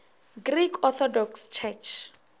greek orthodox church